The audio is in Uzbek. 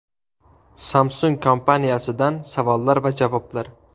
Samsung kompaniyasidan savollar va javoblar.